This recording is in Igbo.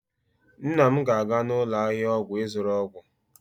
nna m ga-aga n'ụlọ ahịa ọgwụ ịzụrụ ọgwụ